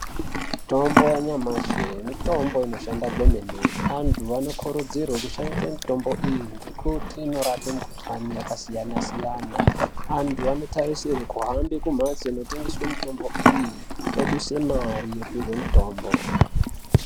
Mitombo ya nyamashi mitombo inoshanda kwemene antu vano kurudzirwe kushandise mitombo iyi ngekuti inorape mu kuhlani yaka siyana siyana antu ano tarisirwe kuhambe ku mhatso ino tengeswe mitombo iyi oduse mari opihwe mutombo.